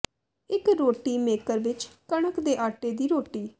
ਇੱਕ ਰੋਟੀ ਮੇਕਰ ਵਿੱਚ ਕਣਕ ਦੇ ਆਟੇ ਦੀ ਰੋਟੀ